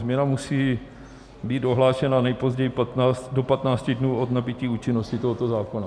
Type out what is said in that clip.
Změna musí být ohlášena nejpozději do 15 dnů od nabytí účinnosti tohoto zákona.